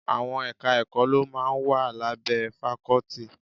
Àwọn Ẹ̀ka-ẹ̀kọ́ ló máa ń wà lábẹ́ fakọ́tì